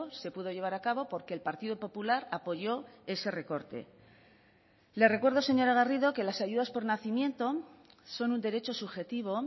se pudo llevar a cabo porque el partido popular apoyó ese recorte le recuerdo señora garrido que las ayudas por nacimiento son un derecho subjetivo